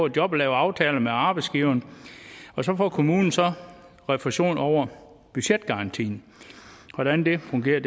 et job og lave aftaler med arbejdsgiveren og så får kommunen så refusion over budgetgarantien hvordan det fungerer